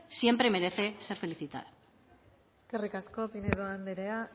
siempre merece ser felicitada eskerrik asko pinedo andrea